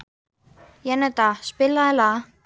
Jenetta, spilaðu lag.